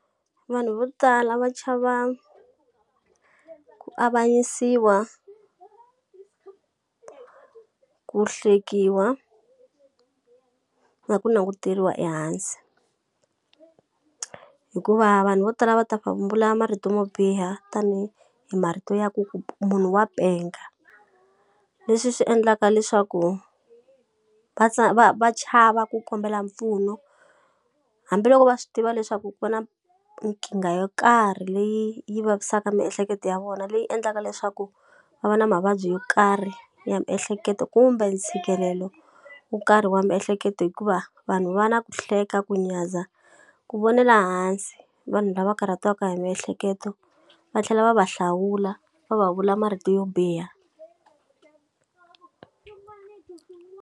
Vanhu vo tala va chava ku avanyisiwa ku hlekiwa, na ku languteriwa ehansi, hikuva vanhu vo tala va ta marito mo biha tanihi hi marito ya ku ku munhu wa penga. Leswi swi endlaka leswaku va va va chava ku kombela mpfuno. Hambiloko va swi tiva leswaku ku na nkingha yo karhi leyi yi vavisaka miehleketo ya vona, leyi endlaka leswaku va va na mavabyi yo karhi ya miehleketo kumbe ntshikelelo wo karhi wa miehleketo hikuva, vanhu va na ku hleketa, ku nyadza, ku vonela hansi vanhu lava karhatiwaka hi miehleketo va tlhela va va hlawula, va va vula marito yo biha.